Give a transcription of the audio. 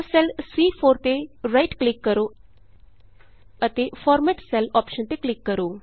ਤਾਂ ਸੈੱਲ ਸੀ4 ਤੇ ਰਾਈਟ ਕਲਿਕ ਕਰੋ ਅਤੇ ਫਾਰਮੈਟ ਸੈਲਜ਼ ਅੋਪਸ਼ਨ ਤੇ ਕਲਿਕ ਕਰੋ